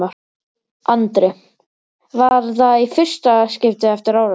Andri: Var það í fyrsta skiptið eftir árásina?